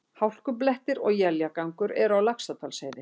Hálkublettir og éljagangur eru á Laxárdalsheiði